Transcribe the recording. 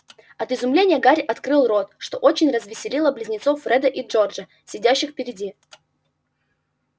от изумления гарри открыл рот что очень развеселило близнецов фреда и джорджа сидящих впереди